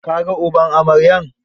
Ka ga uban amaryar?